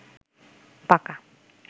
পাকা